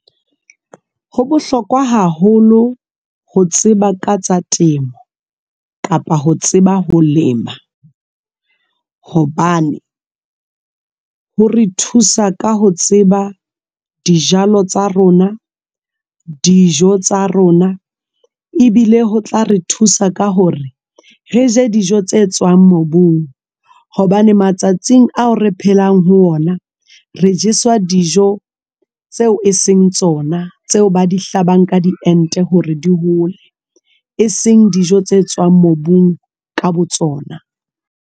Ho bohlokwa haholo ho tseba ka tsa temo kapa ho tseba ho lema hobane hore thusa ka ho tseba dijalo tsa rona, dijo tsa rona ebile ho tla re thusa ka hore re je dijo tse tswang mobung hobane matsatsing ao re phelang ho ona re jeswa dijo tseo e seng tsona tseo ba di hlabang ka di ente hore di hole, e seng dijo tse tswang mobung ka botsona.